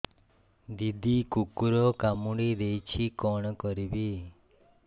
ଦିଦି କୁକୁର କାମୁଡି ଦେଇଛି କଣ କରିବି